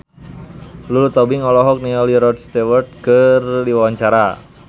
Lulu Tobing olohok ningali Rod Stewart keur diwawancara